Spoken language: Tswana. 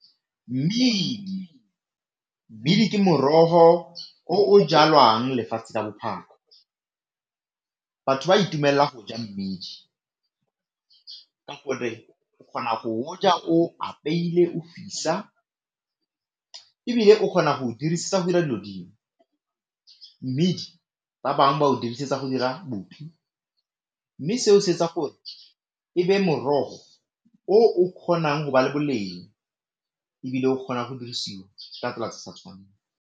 Mmidi, mmidi ke morogo o o jalwang lefatshe ka bophara. Batho ba itumelela go ja mmidi ka gore o kgona go o ja o apeile o fisa, ebile o kgona go dirisetsa go o dirisetsa go dira dilo dingwe. Mmidi ba bangwe ba o dirisetsa go dira boupi mme seo se etsa gore e be morogo o o kgonang go ba le boleng ebile o kgona go dirisiwa ka tsela tse sa tshwaneng.